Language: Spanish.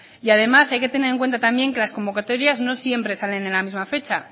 y además hay que tener en cuenta también que las convocatorias no siempre salen en la misma fecha